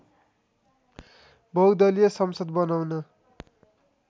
बहुदलिय संसद बनाउन